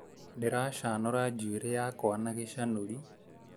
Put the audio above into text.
Ndĩracanũra njũĩrĩ yakwa na gĩcanũri